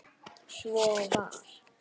Svo var.